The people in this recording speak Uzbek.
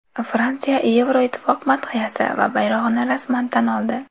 Fransiya Yevroittifoq madhiyasi va bayrog‘ini rasman tan oldi.